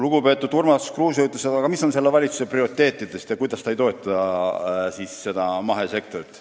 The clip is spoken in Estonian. Lugupeetud Urmas Kruuse küsis, mis on selle valitsuse prioriteedid, ja ütles, et valitsus ei toeta mahesektorit.